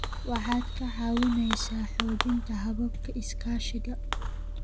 Waxaad ka caawinaysaa xoojinta hababka iskaashiga.